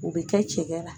O bɛ kɛ cɛ la